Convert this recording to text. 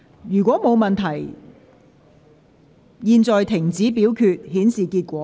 如果沒有問題，現在停止表決，顯示結果。